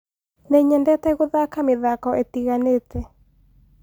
Nĩnyendete gũthaka mĩthako ĩtiganĩte